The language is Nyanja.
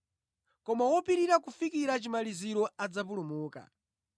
koma wopirira kufikira chimaliziro adzapulumuka.